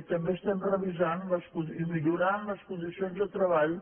i també estem revisant i millorant les condicions de treball